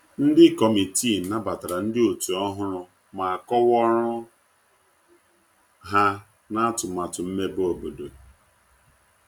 Ndi kọmitịị nabatara ndi otu ohụrụ ma kowaa ọrụ ha na atumatu mmebe obodo